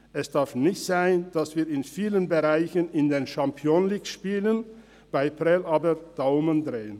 Es darf nicht sein, dass wir in vielen Bereichen in der Champions League spielen, bei Prêles aber Daumen drehen.